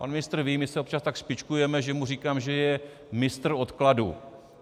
Pan ministr ví, my se občas tak špičkujeme, že mu říkám, že je mistr odkladu.